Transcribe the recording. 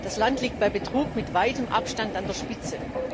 Dieses Land liegt bei Betrug mit weitem Abstand an der Spitze.